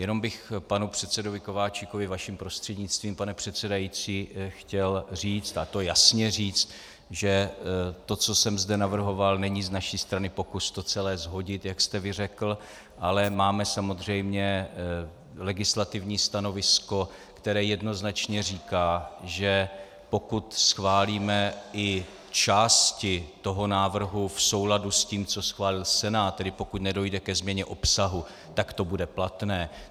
Jenom bych panu předsedovi Kováčikovi vaším prostřednictvím, pane předsedající, chtěl říct, a to jasně říct, že to, co jsem zde navrhoval, není z naší strany pokus to celé shodit, jak jste vy řekl, ale máme samozřejmě legislativní stanovisko, které jednoznačně říká, že pokud schválíme i části toho návrhu v souladu s tím, co schválil Senát, tedy pokud nedojde ke změně obsahu, tak to bude platné.